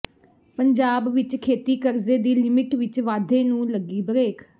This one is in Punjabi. ਪੰਜਾਬ ਵਿੱਚ ਖੇਤੀ ਕਰਜ਼ੇ ਦੀ ਲਿਮਿਟ ਵਿੱਚ ਵਾਧੇ ਨੂੰ ਲੱਗੀ ਬਰੇਕ